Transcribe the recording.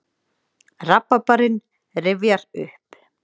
Rabarbarinn rifjaður upp.